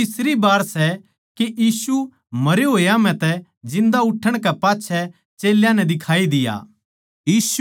यो तीसरी बै सै के यीशु मरे होया म्ह तै जिन्दा उठणै कै पाच्छै चेल्यां नै दिखाई दिया